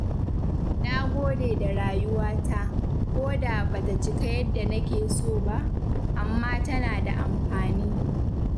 Na gode da rayuwa ta, koda ba ta cika yadda nake so ba, amma tana da amfani.